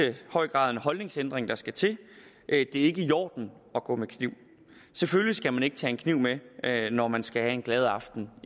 høj grad en holdningsændring der skal til det er ikke i orden at gå med kniv selvfølgelig skal man ikke tage en kniv med når man skal have en glad aften